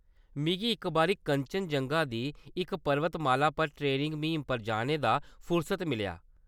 मिगी इक बारी कंचनजंगा दी इक परबत-माला पर ट्रेनिंग म्हीम पर जाने दा फुरसत मिलेआ।